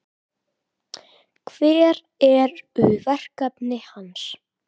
Hver eru verkefni hans?